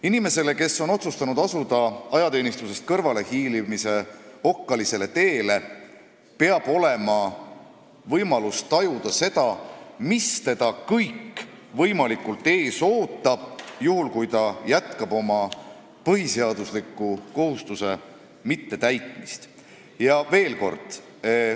Inimene, kes on otsustanud astuda ajateenistusest kõrvalehiilimise okkalisele teele, peab teadma, mis kõik võib teda ees oodata, kui ta oma põhiseaduslikku kohustust ignoreerib.